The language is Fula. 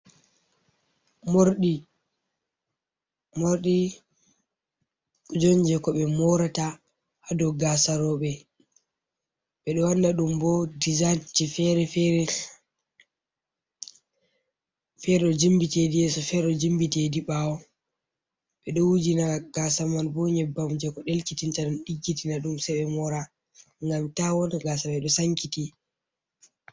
Morɗi, morɗi kuje on je ko ɓe morata hadow gasaroɓe ɓeɗo wanna ɗum bo dizaynt je fere fere jimbitidi yeso, fere jimbitedi ɓawo, ɓeɗo wujina gasa man bo nyebbam je ko delkitinta ɗum, diggitina ɗum se be mora, ngam ta wona gasare ɗo sankiti.